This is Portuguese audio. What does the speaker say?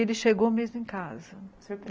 Ele chegou mesmo em casa. Surp